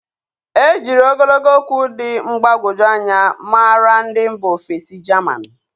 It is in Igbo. E jírí ogologo okwu dị mgbagwoju anya maara ndị mba ofesi jaman.